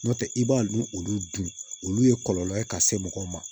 Nɔntɛ i b'a n olu dun olu ye kɔlɔlɔ ye ka se mɔgɔw ma